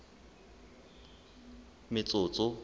metsotso